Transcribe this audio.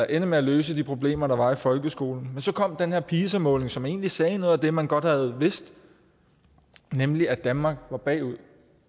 ende med at løse de problemer der var i folkeskolen men så kom den her pisa måling som egentlig sagde noget af det man godt havde vidst nemlig at danmark var bagud